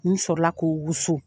N sɔrɔla k'o wusu